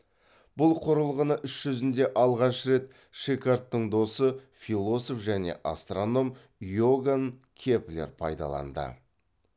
бұл құрылғыны іс жүзінде алғаш рет шикардтың досы философ және астроном иоганн кеплер пайдаланды